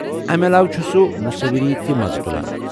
امہ علاوٕ ، چُھ سُہ مصوِری تہِ مزٕ تُلان ۔